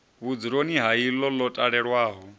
vhudzuloni ha iḽo ḽo talelwaho